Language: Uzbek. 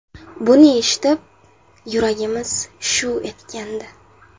Buni eshitib, yuragimiz shuv etgandi.